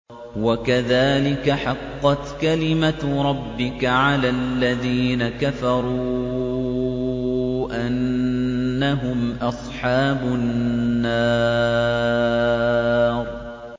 وَكَذَٰلِكَ حَقَّتْ كَلِمَتُ رَبِّكَ عَلَى الَّذِينَ كَفَرُوا أَنَّهُمْ أَصْحَابُ النَّارِ